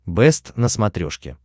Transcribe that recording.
бэст на смотрешке